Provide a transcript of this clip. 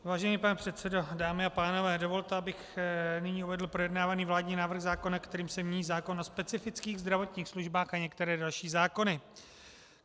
Vážený pane předsedo, dámy a pánové, dovolte, abych nyní uvedl projednávaný vládní návrh zákona, kterým se mění zákon o specifických zdravotních službách a některé další zákony.